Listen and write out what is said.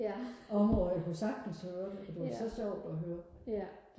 områder jeg kunne sagtens høre det det var så sjovt og høre